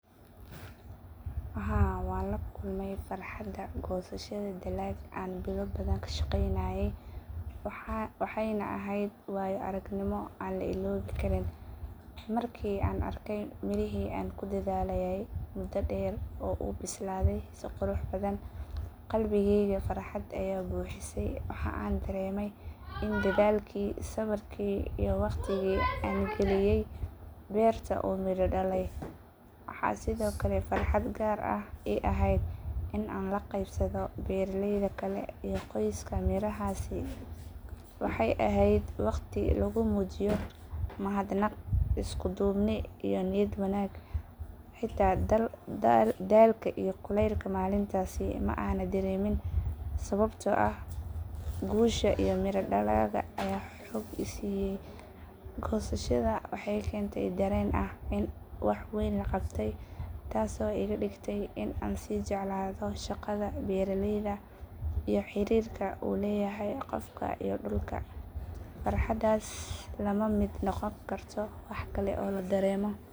Haa waan la kulmay farxadda goosashada dalag aan bilo badan ka shaqeynayay waxaana ahayd waayo aragnimo aan la iloobi karin. Markii aan arkay mirihii aan ku dadaalayay muddo dheer oo u bislaaday si qurux badan, qalbigeyga farxad ayaa buuxisay. Waxa aan dareemay in dadaalkii, sabrkii iyo waqtigii aan geliyay beerta uu midho dhalay. Waxaa sidoo kale farxad gaar ah ii ahayd in aan la qeybsado beeraleyda kale iyo qoyska mirahaasi. Waxay ahayd waqti lagu muujiyo mahadnaq, isku duubni iyo niyad wanaag. Xitaa daalka iyo kulaylka maalintaasi ma aan dareemin sababtoo ah guusha iyo miraha dalagga ayaa xoog i siiyay. Goosashada waxay keentay dareen ah in wax weyn la qabtay taasoo iga dhigtay in aan sii jeclaado shaqada beeraleyda iyo xiriirka uu leeyahay qofka iyo dhulka. Farxaddaas lama mid noqon karto wax kale oo la dareemo.